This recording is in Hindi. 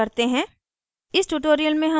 इसको सारांशित करते हैं